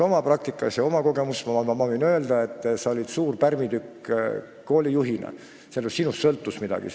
Võin oma kogemuste põhjal öelda, et sa olid koolijuhina suur pärmitükk, sest sinust sõltus midagi.